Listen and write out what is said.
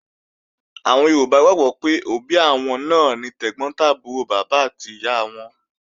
Àwọn Yorùbá gbàgbọ́ pé òbí àwọn náà ni tẹ̀gbọ́n tàbúrò bàbá àti ìyá wọn